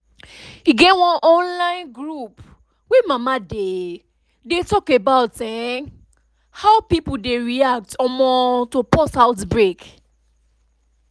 e get one online group wey mama dey dey talk about um how pipo dey react um to pause outbreak